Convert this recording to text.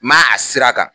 Ma a sira kan